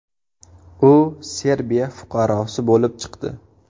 U Serbiya fuqarosi bo‘lib chiqdi.